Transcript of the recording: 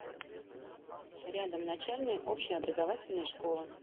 рядом начальная общеобразовательная школа